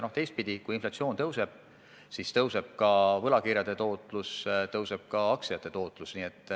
Ja teistpidi, kui inflatsioon tõuseb, siis kasvab ka võlakirjade tootlus, kasvab ka aktsiate tootlus.